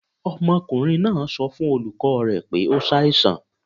Ọmọkunrin naa sọ fun olukọ rẹ pe o ṣaisan